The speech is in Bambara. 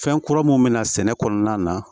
Fɛn kura mun bɛna sɛnɛ kɔnɔna na